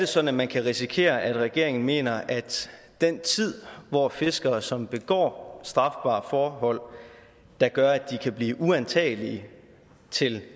sådan at man kan risikere at regeringen mener at den tid hvor fiskere som begår strafbare forhold der gør at de kan blive uantagelige til